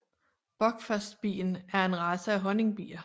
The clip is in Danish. Buckfastbien er en race af honningbier